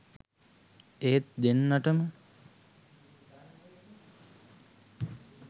ඒත් දෙන්නටම